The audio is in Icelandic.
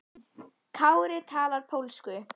Kári talar pólsku.